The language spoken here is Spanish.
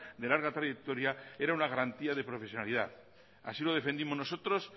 de larga trayectoria era una garantía de profesionalidad así lo defendimos nosotros